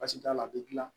Basi t'a la a bɛ gilan